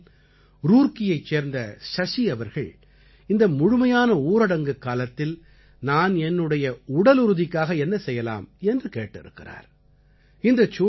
நமோ செயலியில் ரூர்கியைச் சேர்ந்த சசி அவர்கள் இந்த முழுமையான ஊரடங்குக் காலத்தில் நான் என்னுடைய உடலுறுதிக்காக என்ன செய்யலாம் என்று கேட்டிருக்கிறார்